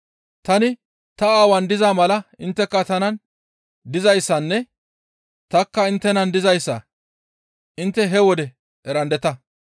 Tani ta Aawaan diza mala intteka tanan dizayssanne tanikka inttenan dizayssa intte he wode erandeta.